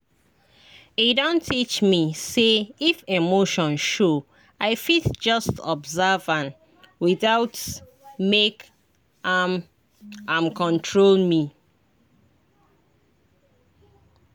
e don teach me say if emotion show i fit just observe am without make am am control me.